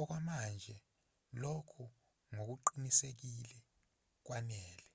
okwamanje lokho ngokuqinisekile kwanele